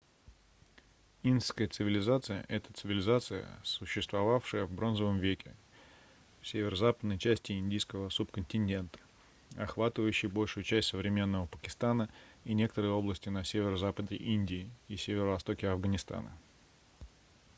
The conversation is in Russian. индская цивилизация это цивилизация существовавшая в бронзовом веке в северо-западной части индийского субконтинента охватывающей большую часть современного пакистана и некоторые области на северо-западе индии и северо-востоке афганистана